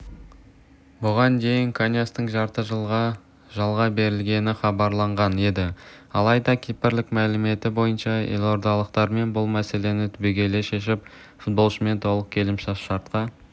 бұған дейін каньястың жарты жылға жалға берілетіні хабарланған еді алайда кипрлік мәліметі бойынша елордалықтармен бұл мәселені түбегейлі шешіп фуболшымен толық келісімшартқа